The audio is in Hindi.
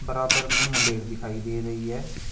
बराबर में मुंडेर दिखाई दे रही है।